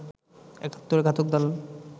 একাত্তরের ঘাতক দালাল